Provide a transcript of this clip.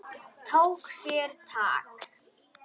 Tók sér tak.